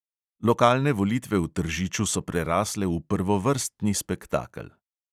Lokalne volitve v tržiču so prerasle v prvovrstni spektakel.